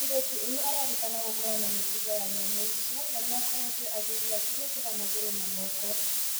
Mũirĩtu ũyũ arerĩkana gũkorwo na mĩtugo ya nyamũ icio na nĩakoretwo agĩthiĩ akĩhũthĩra magũrũ na moko.